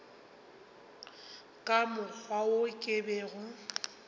ka mokgwa wo ke bego